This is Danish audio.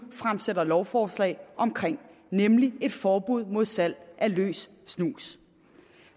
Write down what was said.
fremsætter lovforslag om nemlig et forbud mod salg af løs snus